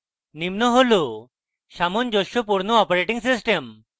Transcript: নিম্ন হল সামঞ্জস্যপূর্ণ operating systems: